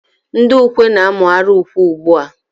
Ndị ukwe na-amụgharị ukwe ugbu a